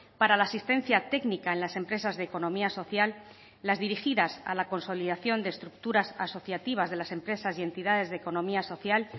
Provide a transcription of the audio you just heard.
para la asistencia técnica en las empresas de economía social las dirigidas a la consolidación de estructuras asociativas de las empresas y entidades de economía social